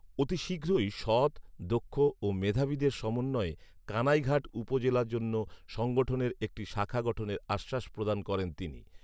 অতি শীঘ্রই সৎ, দক্ষ ও মেধাবীদের সমন্বয়ে কানাইঘাট উপজেলার জন্য সংঠনের একটি শাখা গঠনের আশ্বাস প্রদান করেন তিনি